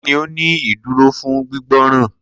Kini o ni iduro fun gbigbọran?